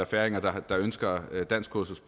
færinger der ønsker et danskkursus